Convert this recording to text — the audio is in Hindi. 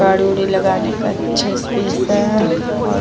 गाड़ी-उडी लगाने का अच्छा स्पेस हैऔर --